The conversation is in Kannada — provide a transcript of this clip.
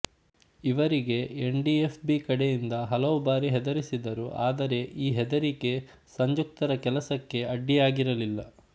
ಇವರಿಗೆ ಎನ್ ಡಿ ಎಫ್ ಬಿ ಕಡೆಯಿಂದ ಹಲವು ಬಾರಿ ಹೆದರಿಸಿದರು ಆದರೆ ಈ ಹೆದರಿಕ್ಕೆ ಸಂಜುಕ್ತರ ಕೆಲಸಕ್ಕೆ ಅಡ್ಡಿಯಾಗಿರಲಿಲ್ಲ